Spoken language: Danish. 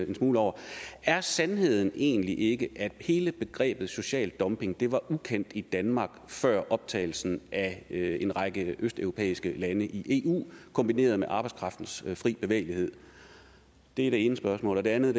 en smule over er sandheden egentlig ikke at hele begrebet social dumping var ukendt i danmark før optagelsen af en række østeuropæiske lande i eu kombineret med arbejdskraftens fri bevægelighed det er det ene spørgsmål det andet